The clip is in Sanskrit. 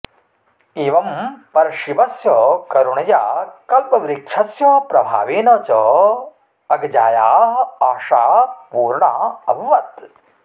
एवं परशिवस्य करुणया कल्पवृक्षस्य प्रभावेन च अगजायाः आशा पूर्णा अभवत्